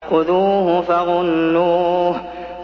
خُذُوهُ فَغُلُّوهُ